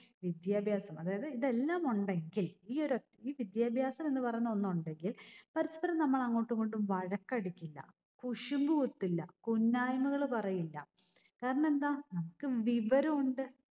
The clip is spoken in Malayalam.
വിദ്യാഭ്യാസം. അതായത് ഇതെല്ലാം ഉണ്ടെങ്കിൽ ഈ ഒരൊറ്റ ഈ വിദ്യാഭ്യാസം എന്ന് പറയുന്ന ഒന്നൊണ്ടെങ്കിൽ പരസ്പരം നമ്മൾ അങ്ങോട്ടും ഇങ്ങോട്ടും വഴക്കടിക്കില്ല. കുശുമ്പുകുത്തില്ല. കുന്നായ്മകള് പറയില്ല. കാരണം എന്താ? നമ്മക്ക് വിവരം ഉണ്ട്